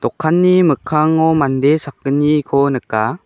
dokanni mikkango mande sakgniko nika.